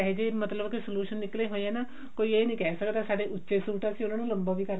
ਏਹੋਜਿਹੇ ਮਤਲਬ ਕਿ solution ਨਿਕਲੇ ਹੋਏ ਆ ਨਾ ਕੋਈ ਇਹ ਨਹੀ ਕਿਹ ਸਕਦਾ ਸਾਡੇ ਉੱਚੇ ਸੂਟ ਆ ਅਸੀਂ ਉਹਨਾਂ ਨੂੰ ਲੰਬੇ